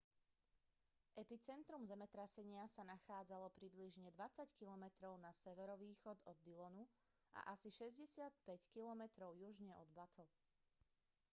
epicentrum zemetrasenia sa nachádzalo približne 20 km na severovýchod od dillonu a asi 65 km južne od butte